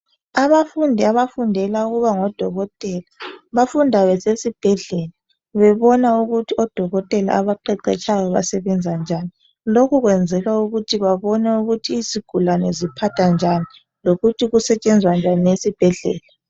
Abafundi abafundela ukuba ngodokotela bafunda besesibhedlela bebona ukuthi odokotela abaqeqetshayo basebenza njani lokhu kwenzelwa ukuthi babone ukuthi izigulane ziphathwa njani lokuthi kusetshenzwa njani esibhedlela.